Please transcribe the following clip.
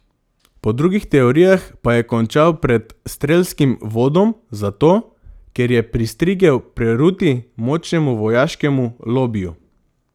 Po drugih teorijah pa je končal pred strelskim vodom zato, ker je pristrigel peruti močnemu vojaškemu lobiju.